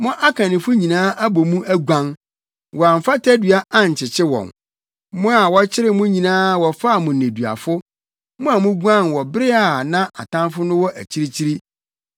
Mo akannifo nyinaa abɔ mu aguan; wɔamfa tadua ankyekye wɔn. Mo a wɔkyeree mo nyinaa wɔfaa mo nneduafo mo a muguan wɔ bere a na atamfo no wɔ akyirikyiri.